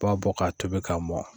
B'a bɔ k'a tobi k'a mɔ